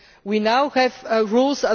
We now have rules.